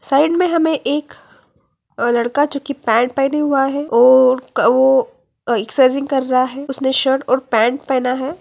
Side में हमें एक अ लड़का जोकि पैंट पहना हुआ है और ओ एक्सरसाइज़िंग कर रहा है उसने शर्ट और पैंट पहना है।